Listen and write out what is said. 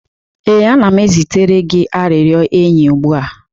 ee, ana m ezitere gị arịrịọ enyi ugbu a.